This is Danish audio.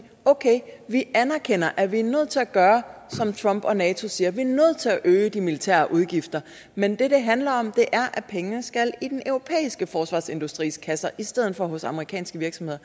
vi anerkender at vi er nødt til at gøre som trump og nato siger vi er nødt til at øge de militære udgifter men det det handler om er at pengene skal i den europæiske forsvarsindustris kasser i stedet for hos amerikanske virksomheder